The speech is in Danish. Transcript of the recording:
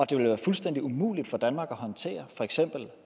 det ville være fuldstændig umuligt for danmark at håndtere for eksempel